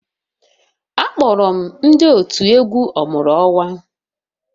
Akpọrọ m ndị otu egwu ọmụrụ-onwa